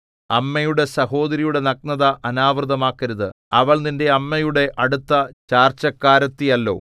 അമ്മയുടെ സഹോദരിയുടെ നഗ്നത അനാവൃതമാക്കരുത് അവൾ നിന്റെ അമ്മയുടെ അടുത്ത ചാർച്ചക്കാരത്തിയല്ലോ